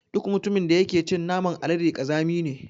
Duk mutumin da yake cin naman alade ƙazami ne.